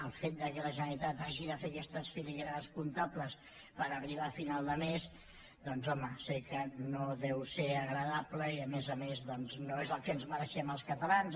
el fet que la generalitat hagi de fer aquestes filigranes comptables per arribar a final de mes doncs home sé que no deu ser agradable i a més a més no és el que ens mereixem els catalans